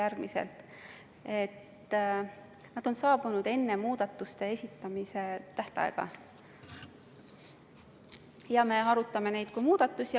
Need ettepanekud on saabunud enne muudatuste esitamise tähtaega ja me arutame neid kui muudatusettepanekuid.